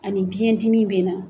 Ani biyɛn dimi